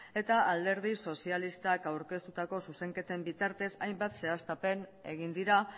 eta alderdi sozialistak aurkeztutako zuzenketen bitartez hainbat zehaztapen egin dira